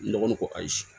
Ne dɔgɔnin ko ayi